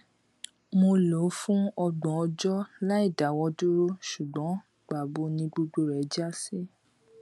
mo lò ó fún ọgbọn ọjọ láìdáwọdúró ṣùgbọn pàbó ni gbogbo rẹ já sí